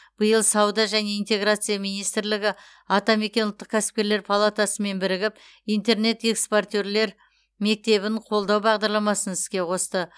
биыл сауда және интеграция министрлігі атамекен ұлттық кәсіпкерлер палатасымен бірігіп интернет экспортерлер мектебін қолдау бағдарламасын іске қосты